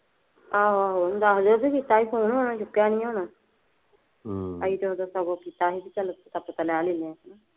ਆਹੋ ਆਹੋ ਦੱਸ ਦੀਆ ਜੇ ਕੀਤਾ ਸੀ phone ਓਹਨੇ ਚੁੱਕਿਆਂ ਨਹੀਂ ਹੋਣਾ । ਅਸੀਂ ਤਾਂ ਹੁਣ ਦੱਸਾਂ ਕੋਲ ਕੀਤਾ ਨੀ ਸੀ ਚੱਲ ਪਤਾ ਪੂਤਾ ਲੈ ਲੈਣੇ ਆ।